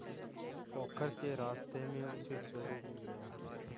पोखर के रास्ते में उसे चोरु मिल गया